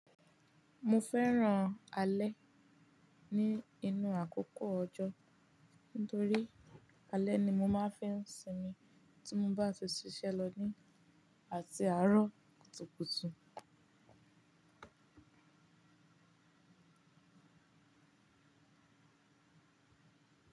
Mo fẹ́ràn alẹ́ ní inú àkókò ọjọ́, nítorí alẹ́ ni mo máa ń fẹ́ ń sinmi tí mo bá ti ṣiṣẹ́ lọ ní àti àárọ̀ kùtùkùtù.